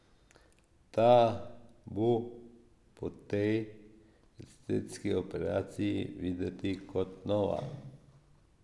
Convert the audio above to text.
Ta bo po tej estetski operaciji videti kot nova.